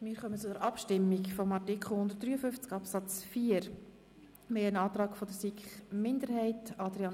Wir stimmen über den Antrag der SiK-Minderheit ab.